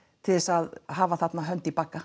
til þess að hafa þarna hönd í bagga